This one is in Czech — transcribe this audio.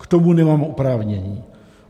K tomu nemám oprávnění.